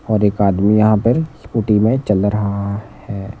और एक आदमी यहां पर स्कूटी में चल रहा है।